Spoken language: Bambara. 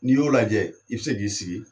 N'i y'o lajɛ i be se k'i sigi